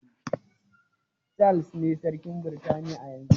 Charles ne sarkin Britaniya na yanzu